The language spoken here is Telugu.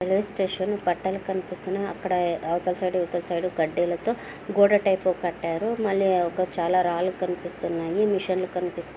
రైల్వేస్టేషన్ పట్టాలు కనిపిస్తునై అక్కడ అవతల సైడ్ ఇవతలసైడ్ కడ్డీలతో గోడ టైప్ కట్టారుమళ్ళీ ఒక చాలా రాళ్ళు కన్పిస్తున్నాయి మెషీన్ లు కన్పిస్త